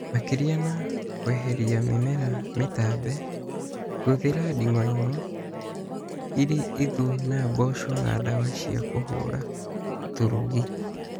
Makĩria na kwehelia mĩmera mĩtambe, kũthĩra ding'oing'o irĩ ũthũ na mbũca na dawa cia kũhuhĩra tũrũgi